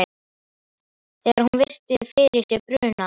Þegar hún virti fyrir sér bruna